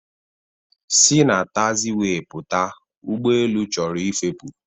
Si na taxiwee pụta! ụgbọelu chọrọ ịfepụ